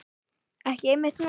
Ekki einmitt núna.